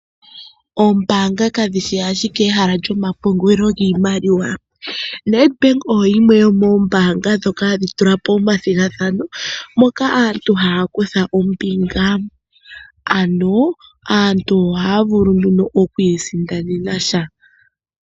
Oombaanga kadhi shi ashike ehala lyomapungulilo giimaliwa. Nedbank oyo yimwe yomoombaanga ndhoka hadhi tula po omathigathano moka aantu haya kutha ombinga. Aantu ohaya vulu nduno oku isindanena sha.